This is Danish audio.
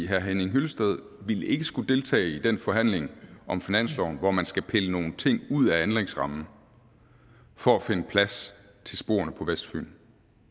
herre henning hyllested ville ikke skulle deltage i den forhandling om finansloven hvor man skal pille nogle ting ud af anlægsrammen for at finde plads til sporene på vestfyn